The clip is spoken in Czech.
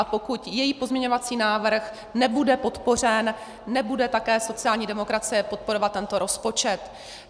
A pokud její pozměňovací návrh nebude podpořen, nebude také sociální demokracie podporovat tento rozpočet.